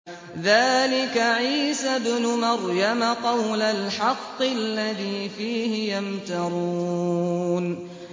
ذَٰلِكَ عِيسَى ابْنُ مَرْيَمَ ۚ قَوْلَ الْحَقِّ الَّذِي فِيهِ يَمْتَرُونَ